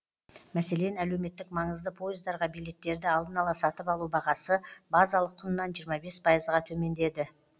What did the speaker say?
мәселен әлеуметтік маңызды пойыздарға билеттерді алдын ала сатып алу бағасы базалық құнынан жиырма бес пайызға төмендеді